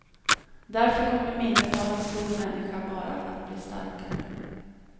Därför kommer minnet av en stor människa bara att bli starkare.